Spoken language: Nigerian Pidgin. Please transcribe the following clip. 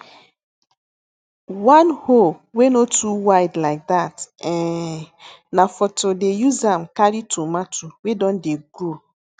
one hoe wey no too wide like that um na for to dey use am carry tomato wey don dey grow